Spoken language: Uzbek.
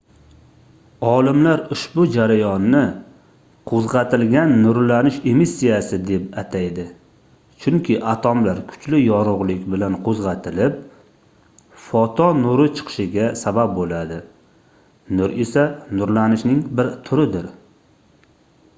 olimlar ushbu jarayonni qoʻzgʻatilgan nurlanish emissiyasi den ataydi chunki atomlar kuchli yorugʻlik bilan qoʻzgʻatilib foton nuri chiqishiga sabab boʻladi nur esa nurlanishning bir turidir